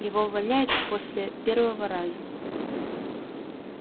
его увольняют после первого раза